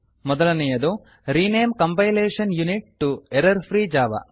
ಮೊದಲನೇಯದು rename compilation unit to error free Java